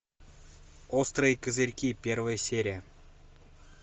острые козырьки первая серия